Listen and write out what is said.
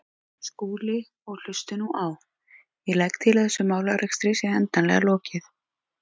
Skúli, og hlustið nú á: Ég legg til að þessum málarekstri sé endanlega lokið.